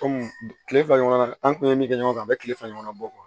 Kɔmi kile fila ɲɔgɔn na an kun ye min kɛ ɲɔgɔn kan a bɛ kile fila ɲɔgɔnna bɔ